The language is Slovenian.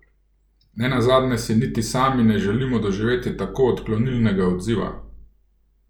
Ne nazadnje si niti sami ne želimo doživeti tako odklonilnega odziva!